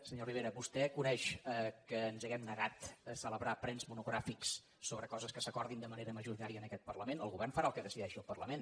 senyor rivera vostè coneix que ens hàgim negat a celebrar plens monogràfics sobre coses que s’acordin de manera majoritària en aquest parlament el govern farà el que decideixi el parlament